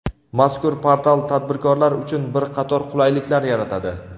Mazkur portal tadbirkorlar uchun bir qator qulayliklar yaratadi.